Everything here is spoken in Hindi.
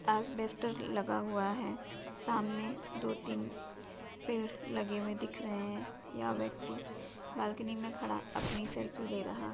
लगा हुआ है सामने दो तीन पेड़ लगे हुए दिख रहे हैं यह व्यक्ति बालकनी में खड़ा अपनी सेल्फी ले रहा--